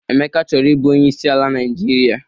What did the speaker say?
Emeka chọrọ ị bụ Onyeisi ala Naịjirịa.